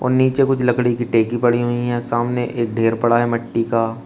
नीचे कुछ लकड़ी की टेकी पड़ी हुई है सामने एक ढेर पड़ा है मिट्टी का।